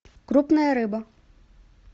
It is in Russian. крупная рыба